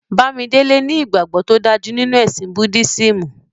Bàmídélè ní ìgbagbọ̀ tó dájú nínu ẹ̀sìn Búddisímù.